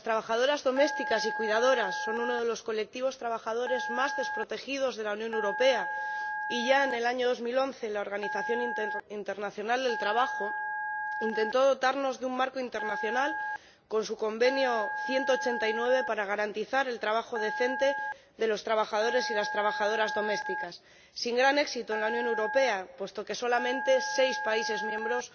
Las trabajadoras domésticas y las cuidadoras son uno de los colectivos trabajadores más desprotegidos de la Unión Europea, y ya en el año 2011 la Organización Internacional del Trabajo intentó dotarnos de un marco internacional, con su Convenio n.º 189, para garantizar el trabajo decente de los trabajadores y las trabajadoras domésticas, sin gran éxito en la Unión Europea, puesto que solamente seis países miembros